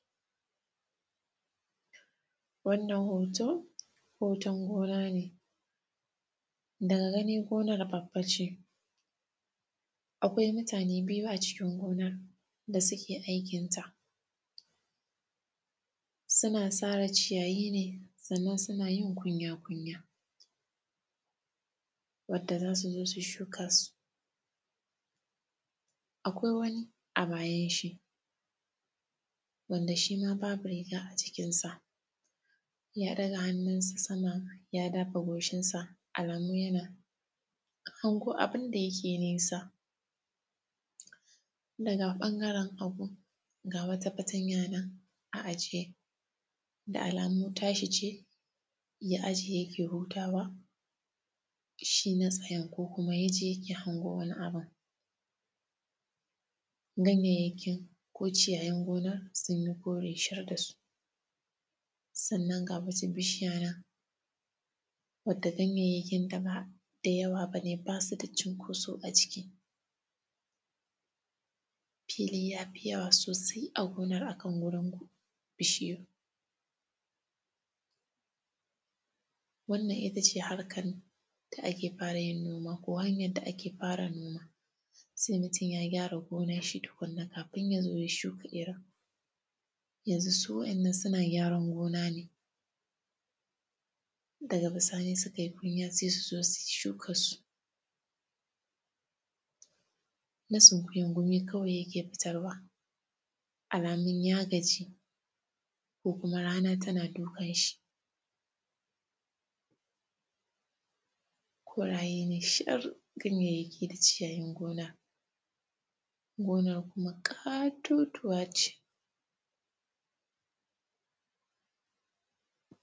Wannan hoto, hoton gona ne. Daga gani, gonar babba ce, akwai mutane biyu a cikin gonan da suke aikinta. Sina sare ciyayi ne, sannan sina yin kunya-kunya wadda za su zo su shuka su. Akwai wani a bayanshi, wanda shi ma babu riga a jikinsa, ya ɗaga hannunsa sama ya dafa goshinsa, alamun yana hango abin da yake nesa. Daga ƃangaren hagu, ga wata fatanya nan a ajiye, da alamu tashi ce, ya ajiye yake hutawa, shi na tsayen ko kuma ya je yake hango wani abin. Ganyayyaki ko ciyayin gona, sun yi kore shar da su, sannan, ga wasu bishiya nan wanda ganyayyakinta ba da yawa ba ne, ba su da cinkoso a ciki. Fili ya fi yawa sosai a gonan a kan wurin bishiyar. Wannan ita ce harkan da ake fara yin noma ko hanyan da ake fara noma, se mutun ya gyara gonanshi tukunna, kafi ya zo ya shuka irin. Yanzu, su wa’yannan suna gyaran gona ne, daga bisani sukai kunya, se su zo su shukassu. Na sunkuyan, gumi kawai yake fitarwa, alamun ya gaji ko kuma rana tana dukan shi. Koraye ne shar ganyyayyaki da ciyayin gona, gonar kuma ƙatotuwa ce.